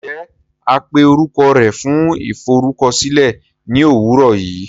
Njẹ a pé orukọ rẹ fún iforukọsilẹ ni owurọ yii!?